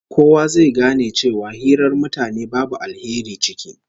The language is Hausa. Kowa zai gane cewa hirar mutanen babu alheri ciki